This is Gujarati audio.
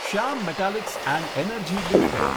Shyam metalics and energy limited